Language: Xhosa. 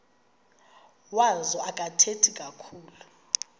wazo akathethi kakhulu